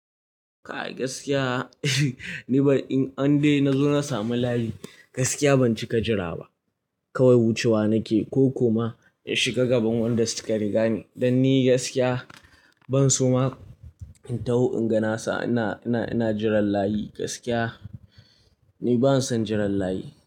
Kai gaskiya, ni in an dai na zo na samu layi gaskiya ban cika jira ba. Kawai wucewa nake ko kuma in shiga gaban wanda suka riga ni. Dan ni gaskiya ban so ma in taho in ga nasa ina, ina, ina jiran layi gaskiya ni ban son jiran layi.